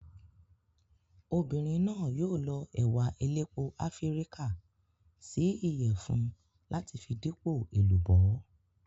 Obìnrin náà yóò lọ ẹ̀wà elépo Áfíríkà sí Ìyẹ̀fun láti fi dípò èlùbọ́.